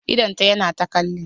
Idon ta yana ta kalli